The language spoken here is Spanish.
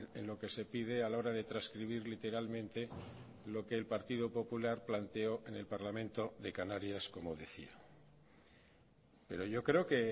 en lo que se pide a la hora de transcribir literalmente lo que el partido popular planteó en el parlamento de canarias como decía pero yo creo que